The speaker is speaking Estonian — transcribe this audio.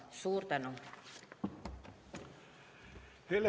Suur tänu!